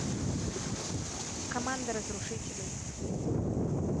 команда разрушителей